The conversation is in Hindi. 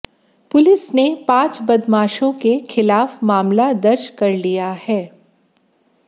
पुलिस ने पांच बदमाशों के खिलाफ मामला दर्ज कर लिया है